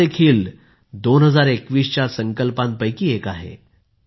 हा देखील 2021 च्या संकल्पांपैकी एक आहे